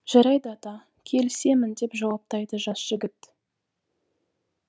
жарайды ата келісемін деп жауаптайды жас жігіт